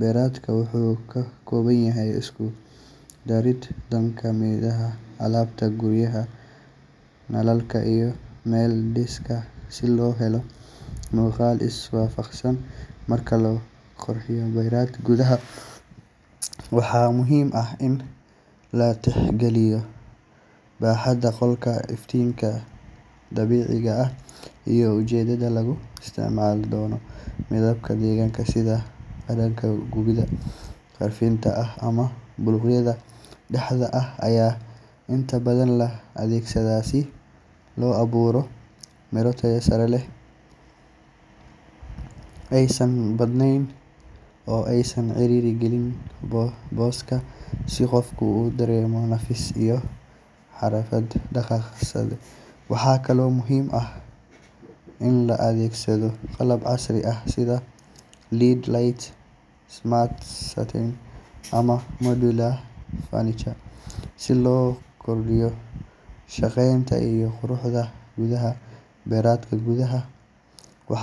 Beredkani wuxuu ka kooban yahay isku-dubarid dhanka midabka, alaabta guriga, nalalka, iyo meel dhigista si loo helo muuqaal is-waafaqsan. Marka la qorsheynayo bered gudaha, waxaa muhiim ah in la tixgeliyo baaxadda qolka, iftiinka dabiiciga ah, iyo ujeedada lagu isticmaali doono. Midabada degan sida caddaanka, buniga khafiifka ah, ama buluugga dhaxaadka ah ayaa inta badan la adeegsadaa si loo abuuro degganaansho. Waxaa muhiim ah in alaabta la dhigo aysan badnayn oo aysan ciriiri gelin booska, si qofku u dareemo nafis iyo xorriyad dhaqdhaqaaq. Waxa kale oo muhiim ah in la adeegsado qalab casri ah sida LED lights, smart curtains, ama modular furniture si loo kordhiyo shaqeynta iyo quruxda gudaha. Beredka gudaha wuxuu